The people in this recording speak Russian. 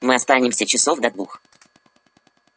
мы останемся часов до двух